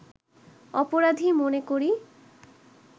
অপরাধী মনে করি